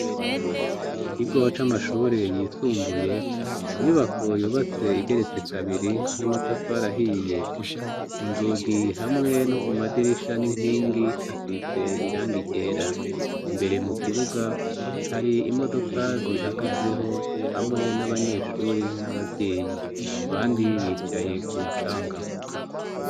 Mu kigo c' amashure yisumbuye ni inyubako zubatse neza urugorubakishije amatafari ahiye mande yaho hari abanyeshure bahahagaze mutwatsi hasi handi na ho nta twatsi tuhari imbere hari i inyubako ndende igeretse kane itararangira kwubaka.